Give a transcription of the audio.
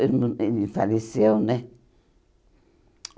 Ele não ele faleceu, né?